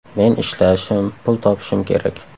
Men ishlashim, pul topishim kerak.